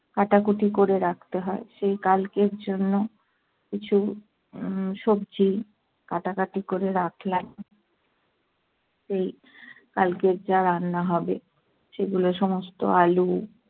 কাটাকুটি করে রাখতে হয়। সেই কালকের জন্য কিছু উম সবজি কাটাকাটি করে রাখলাম এই কালকের যা রান্না হবে সেগুলো সমস্ত- আলু,